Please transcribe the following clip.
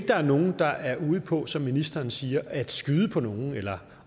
der er nogen der er ude på som ministeren siger at skyde på nogen eller